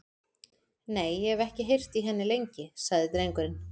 Nei, og ég hef ekki heyrt í henni lengi, sagði drengurinn.